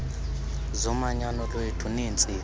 zomanyano lwethu neentsika